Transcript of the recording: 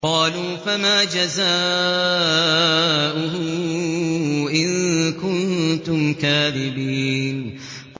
قَالُوا فَمَا جَزَاؤُهُ إِن كُنتُمْ كَاذِبِينَ